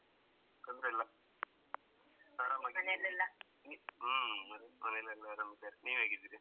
ತೊಂದ್ರೆ ಇಲ್ಲ ಆರಾಮಾಗಿದ್ದೀನಿ ಹ್ಮ್ ಮನೇಲೆಲ್ಲ ಆರಾಮಿದ್ದಾರೆ ನೀವ್ ಹೇಗಿದ್ದೀರಿ?